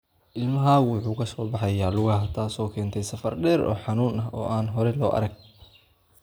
Ilmahaagu wuxuu ka soo baxay lugaha, taasoo keentay safar dheer oo xanuun ah oo aan hore loo arag.